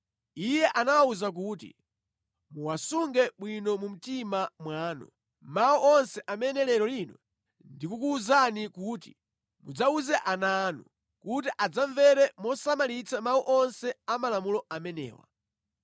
iye anawawuza kuti, “Muwasunge bwino mu mtima mwanu, mawu onse amene lero lino ndikukuwuzani kuti mudzawuze ana anu, kuti adzamvere mosamalitsa mawu onse a malamulo amenewa.